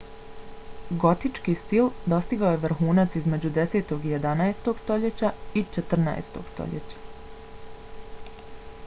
gotički stil dostigao je vrhunac između 10. i 11. stoljeća i 14. stoljeća